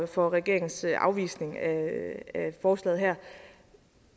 for regeringens afvisning af forslaget her